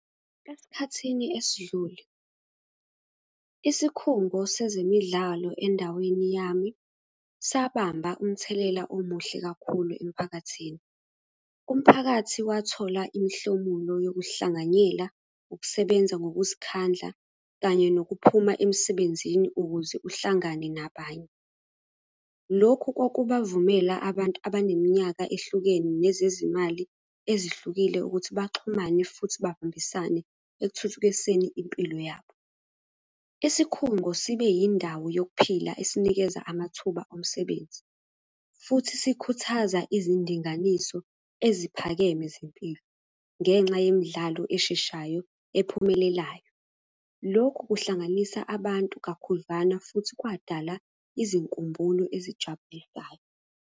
Esikhathini esidlule, isikhungo sezemidlalo endaweni yami, sahamba umthelela omuhle kakhulu emphakathini. Umphakathi wathola imihlomulo yokuhlanganyela, ukusebenza ngokuzikhandla, kanye nokuphuma emsebenzini ukuze uhlangane nabanye. Lokhu kwakubavumela abantu abaneminyaka ehlukene nezezimali ezihlukile ukuthi baxhumane futhi babambisane ekuthuthukiseni impilo yabo. Isikhungo sibe yindawo yokuphila esinikeza amathuba omsebenzi, futhi sikhuthaza izindinganiso eziphakeme zempilo, ngenxa yemidlalo esheshayo ephumelelayo. Lokhu kuhlanganisa abantu kakhudlwana futhi kwadala izinkumbulo ezijabulisayo.